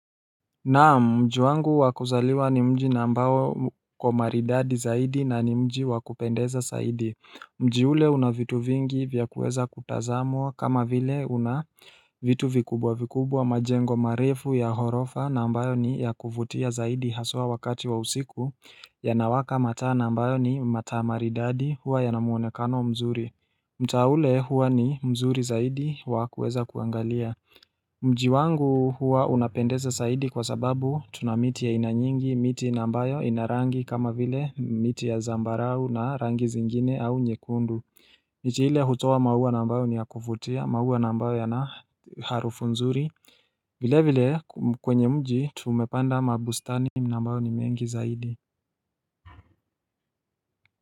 Naam mji wangu wakuzaliwa ni mji na ambao uko maridadi zaidi na ni mji wakupendeza zaidi Mji ule una vitu vingi vya kuweza kutazamwa kama vile una vitu vikubwa vikubwa majengo marefu ya ghorofa na ambayo ni ya kuvutia zaidi haswa wakati wa usiku Yanawaka mataa na ambayo ni mataa maridadi huwa yana muonekano mzuri mtaa ule huwa ni mzuri zaidi wa kueza kuangalia Mji wangu huwa unapendeza zaidi kwa sababu tuna miti ya aina nyingi, miti na ambayo ina rangi kama vile miti ya zambarau na rangi zingine au nyekundu miti ile hutoa maua na ambayo ni ya kuvutia, maua na ambayo yana harufu nzuri vile vile kwenye mji tumepanda mabustani na ambayo ni mengi zaidi.